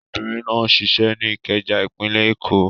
Obìnrin náà ń ṣiṣẹ́ ní Ìkẹjà, ìpínlẹ̀ Èkó.